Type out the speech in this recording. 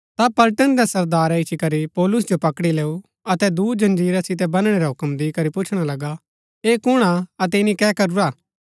ता पलटन रै सरदारै इच्ची करी पौलुस जो पकड़ी लैऊ अतै दूँ जंजीरा सितै बनणै रा हूक्म दिकरी पुछणा लगा ऐह कुणआ अतै ईनी कै करूरा